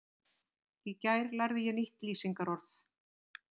Í gær lærði ég nýtt lýsingarorð.